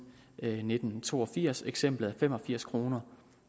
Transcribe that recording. nitten to og firs eksemplet fem og firs kroner